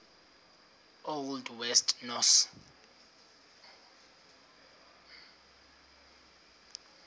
old west norse